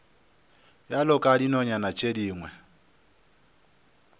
bjalo ka dinonyana tše dingwe